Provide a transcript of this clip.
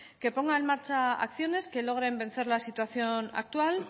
que ponga en marcha acciones que logren vencer la situación actual